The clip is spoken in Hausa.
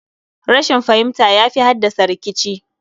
Rashin fahimta yafi haddasa rikici